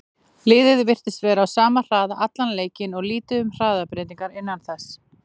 Liðið virtist vera á sama hraða allan leikinn og lítið um hraðabreytingar innan þess.